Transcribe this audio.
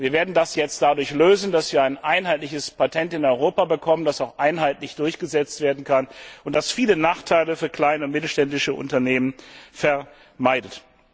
Und wir werden das jetzt dadurch lösen, dass wir ein einheitliches Patent in Europa bekommen, das auch einheitlich durchgesetzt werden kann und das viele Nachteile für kleine und mittelständische Unternehmen vermeidet.